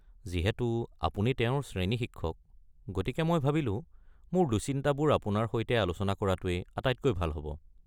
যিহেতু আপুনি তেওঁৰ শ্ৰেণী শিক্ষক, গতিকে মই ভাবিলো মোৰ দুশ্চিন্তাবোৰ আপোনাৰ সৈতে আলোচনা কৰাটোৱেই আটাইতকৈ ভাল হ'ব।